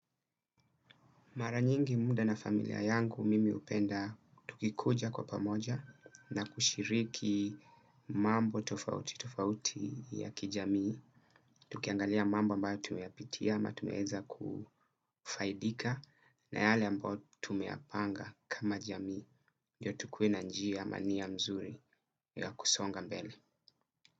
Mara nyingi muda na familia yangu mimi hupenda tukikuja kwa pamoja na kushiriki mambo tofauti tofauti ya kijamii, tukiangalia mambo ambayo tumeyapitia, ama tumeeza kufaidika na yale ambayo tumeyapanga kama jamii, ndio tukuwe na njiya ama nia mzuri ya kusonga mbele.